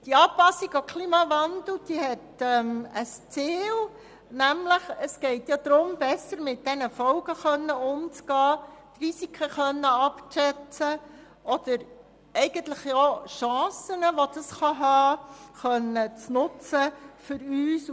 Die Anpassung an den Klimawandel hat ein Ziel, und zwar geht es darum, besser mit den Folgen umzugehen, Risiken abzuschätzen oder auch mögliche Chancen für uns und für unsere Umwelt nutzen zu können.